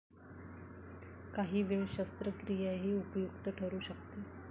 काही वेळ शस्त्रक्रियाही उपयुक्त ठरू शकते.